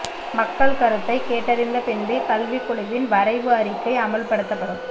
மக்கள் கருத்தை கேட்டறிந்த பின்பே கல்விக் குழுவின் வரைவு அறிக்கை அமல்படுத்தப்படும்